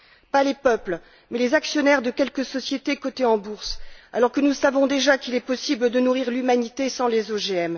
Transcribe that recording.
Pas les peuples, mais les actionnaires de quelques sociétés cotées en bourse, alors que nous savons déjà qu'il est possible de nourrir l'humanité sans les OGM.